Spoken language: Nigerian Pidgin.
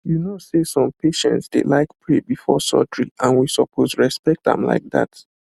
you know say some patients dey like pray before surgery and we suppose respect am like that